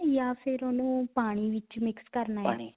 ਜਾਂ ਫਿਰ ਉਹਨੂੰ ਪਾਣੀ ਵਿੱਚ mix ਕਰਨਾ